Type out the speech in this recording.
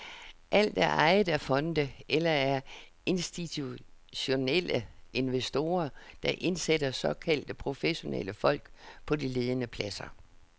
Alt er ejet af fonde eller af institutionelle investorer, der indsætter såkaldte professionelle folk på de ledende pladser.